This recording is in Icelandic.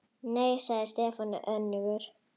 Nei svaraði Stefán önugur.